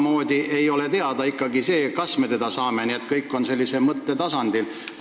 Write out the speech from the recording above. Meile ei ole ikkagi teada, kas me selle raha saame, nii et kõik on säärasel mõtte tasandil.